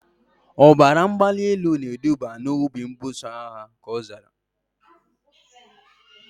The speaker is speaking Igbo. Ọbara mgbali elu na eduba na obi mbuso agha, ka ọ zara